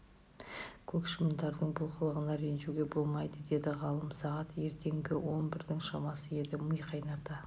көк шыбындардың бұл қылығына ренжуге болмайды деді ғалым сағат ертеңгі он бірдің шамасы еді ми қайната